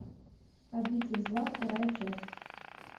обитель зла вторая часть